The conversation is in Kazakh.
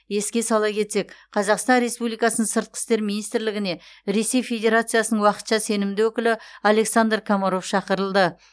еске сала кетсек қазақстан республикасының сыртқы істер министрлігіне ресей федерациясының уақытша сенімді өкілі александр комаров шақырылды